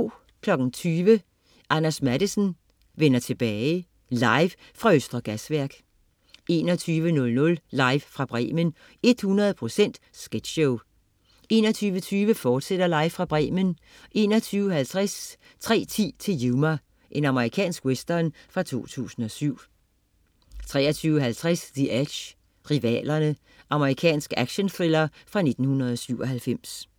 20.00 Anders Matthesen: Vender tilbage. Live fra Østre Gasværk 21.00 Live fra Bremen. 100 procent sketchshow 21.20 Live fra Bremen, fortsat 21.50 3:10 til Yuma. Amerikansk western fra 2007 23.50 The Edge, Rivalerne. Amerikansk actionthriller fra 1997